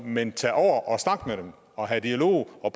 men tage over og snakke med dem og have dialog og